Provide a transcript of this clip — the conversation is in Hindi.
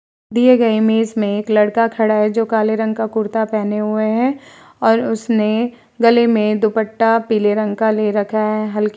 दिए गए इमेज में एक लड़का खड़ा है जो काले रंग का कुर्ता पहने हुए है और उसने गले में दुपट्टा पीले रंग का ले रखा है। हल्के --